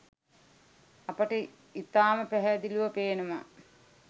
අපට ඉතාම පැහැදිලිව පේනවා